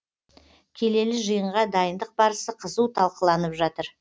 келелі жиынға дайындық барысы қызу талқыланып жатыр